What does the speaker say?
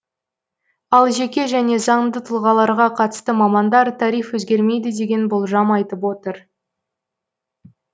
ал жеке және заңды тұлғаларға қатысты мамандар тариф өзгермейді деген болжам айтып отыр